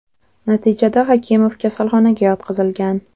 Natijada Hakimov kasalxonaga yotqizilgan.